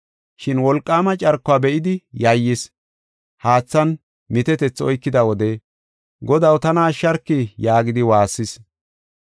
Shin wolqaama carkuwa be7idi yayyis. Haathan mitetethi oykida wode, “Godaw! tana ashsharki!” yaagidi waassis.